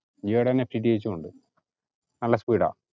ജിയോടെ തന്നെ FTTH ഉണ്ട് നല്ല speed ആ